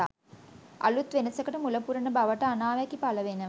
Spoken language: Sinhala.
අලුත් වෙනසකට මුල පුරන බවට අනාවැකි පළ වෙනවා.